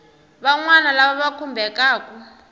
van wana lava va khumbekaku